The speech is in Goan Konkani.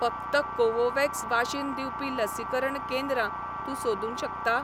फकत कोवोव्हॅक्स वाशीन दिवपी लसीकरण केंद्रां तूं सोदूंक शकता?